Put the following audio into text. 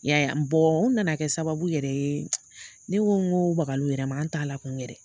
I ya ye a ? u nana kɛ sababu yɛrɛ ye , ne ko n ko u bakala u yɛrɛ ma an t'a la kun yɛrɛ